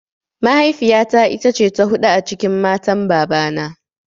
Mahaifiya ta ita ce ta huɗu a cikin matan baba na